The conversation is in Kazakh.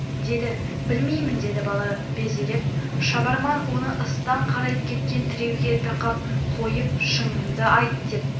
деді білмеймін деді бала безеріп шабарман оны ыстан қарайып кеткен тіреуге тақап қойып шыныңды айт деп